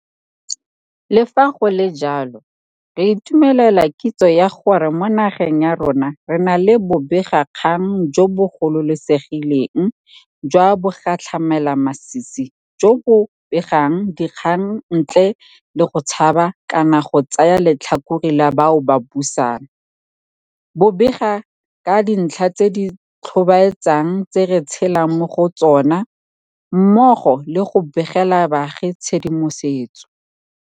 Le fa go le jalo, re itumelela kitso ya gore mo nageng ya rona re na le bobegakgang jo bo gololesegileng jwa bogatlhamelamasisi jo bo begang dikgang ntle le go tshaba kana go tsaya letlhakore la bao ba busang, bo bega ka dintlha tse di tlhobaetsang tse re tshelang mo go tsona, mmogo le go begela baagi tshedimosetso